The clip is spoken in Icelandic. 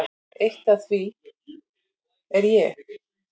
Eitt af því er ég.